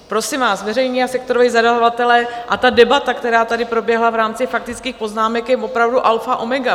Prosím vás, veřejní a sektoroví zadavatelé a ta debata, která tady proběhla v rámci faktických poznámek, je opravdu alfa omega.